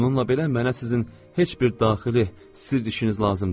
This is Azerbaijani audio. Bununla belə mənə sizin heç bir daxili sirr işiniz lazım deyil.